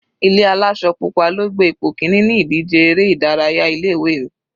Ilé aláṣọ pupa ló gbé ipò kíní ní ìdíje eré ìdárayá ilé ìwé mi.